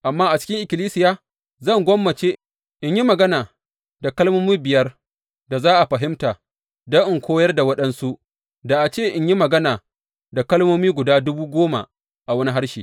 Amma a cikin ikkilisiya zan gwammace in yi magana da kalmomi biyar da za a fahimta don in koyar da waɗansu da a ce in yi magana da kalmomi guda dubu goma a wani harshe.